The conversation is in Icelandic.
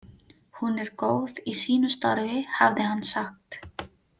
Hún er góð í sínu starfi, hafði hann sagt.